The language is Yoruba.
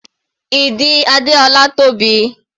Ìdí Adéọlá tóbi.